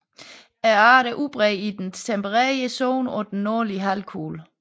Arten er udbredt i den tempererede zone på den nordlige halvkugle